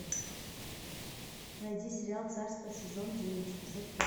найди сериал царство сезон девять эпизод пять